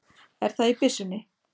Er það í byssunni?